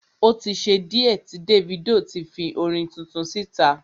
O tí ṣe díẹ̀ tí Davido ti fi orin tuntun síta.